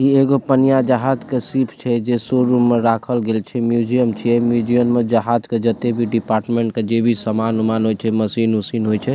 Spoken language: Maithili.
इ एगो पनिया जहाज़ के शिप छै जे शोरूम में राखल गएल छै म्यूजियम छै म्यूजियम में जहाज़ के जेते भी डिपार्टमेंट के जे भी समान-उमान होए छै मशीन उशीन होए छै।